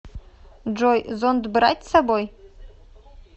джой зонт брать с собой